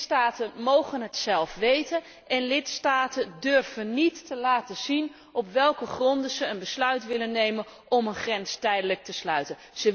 Lidstaten mogen het zelf weten en lidstaten durven niet te laten zien op welke gronden ze een besluit nemen om een grens tijdelijk te sluiten.